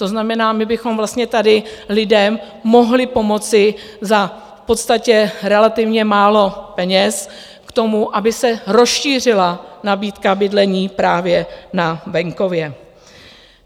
To znamená, my bychom vlastně tady lidem mohli pomoci za v podstatě relativně málo peněz k tomu, aby se rozšířila nabídka bydlení právě na venkově.